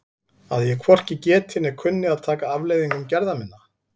Að ég hvorki geti né kunni að taka afleiðingum gerða minna?